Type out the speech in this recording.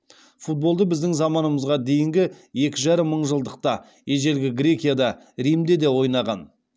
футболды біздің заманымызға дейінгі екі жарым мыңжылдықта ежелгі грекияда римде де ойнаған